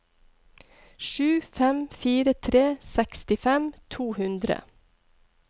sju fem fire tre sekstifem to hundre